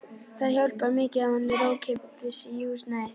Það hjálpar mikið að hún er í ókeypis húsnæði.